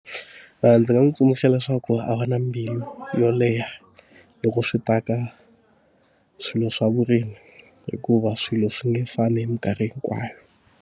ndzi nga n'wi tsundzuxa leswaku a va na mbilu yo leha loko swi ta ka swilo swa vurimi, hikuva swilo swi nge fani hi mikarhi hikwayo.